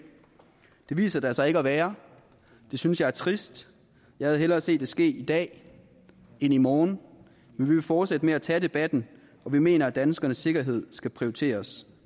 det viser der sig ikke at være og det synes jeg er trist jeg havde hellere set det ske i dag end i morgen men vi vil fortsætte med at tage debatten og vi mener at danskernes sikkerhed skal prioriteres